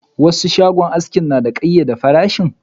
Wasu shagon aski suna da kayyade farashin.